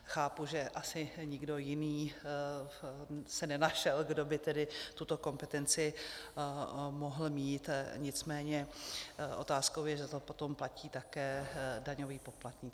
Chápu, že asi nikdo jiný se nenašel, kdo by tedy tuto kompetenci mohl mít, nicméně otázkou je, že to potom platí také daňový poplatník.